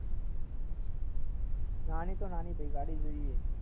નાની તો નાની ભાઈ ગાડી જોઈએ